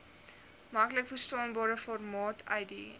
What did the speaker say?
maklikverstaanbare formaat uiteen